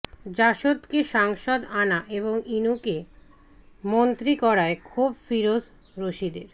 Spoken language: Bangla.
জাসদকে সংসদে আনা এবং ইনুকে মন্ত্রী করায় ক্ষোভ ফিরোজ রশীদের